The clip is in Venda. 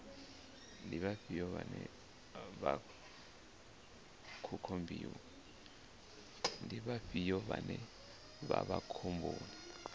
ndi vhafhio vhane vha vha khomboni